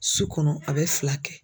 Su kɔnɔ a bɛ fila kɛ.